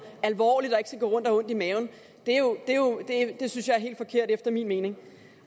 alvorligt og ikke skal gå rundt og have ondt i maven synes jeg er helt forkert efter min mening